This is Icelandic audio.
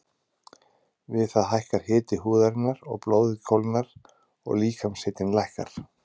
Við það hækkar hiti húðarinnar og blóðið kólnar og líkamshitinn lækkar.